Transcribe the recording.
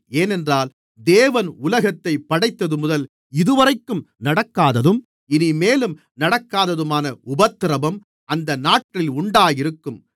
ஏனென்றால் தேவன் உலகத்தை படைத்தது முதல் இதுவரைக்கும் நடக்காததும் இனிமேலும் நடக்காததுமான உபத்திரவம் அந்த நாட்களில் உண்டாயிருக்கும்